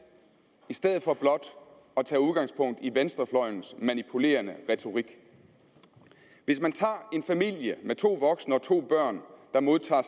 i stedet for blot at tage udgangspunkt i venstrefløjens manipulerende retorik hvis man tager en familie med to voksne og to børn der modtager